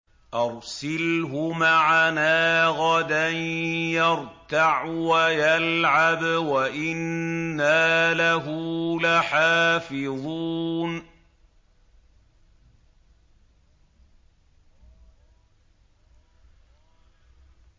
أَرْسِلْهُ مَعَنَا غَدًا يَرْتَعْ وَيَلْعَبْ وَإِنَّا لَهُ لَحَافِظُونَ